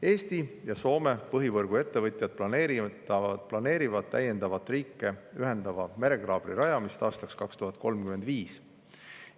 Eesti ja Soome põhivõrguettevõtjad planeerivad täiendavat riike ühendava merekaabli rajamist aastaks 2035.